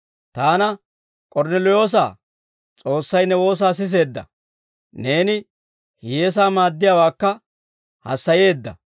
taana, ‹k'ornneliyoosa, S'oossay ne woosaa siseedda; neeni hiyyeesaa maaddiyaawaakka hassayeedda.